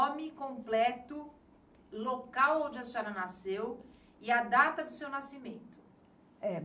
nome completo, local onde a senhora nasceu e a data do seu nascimento.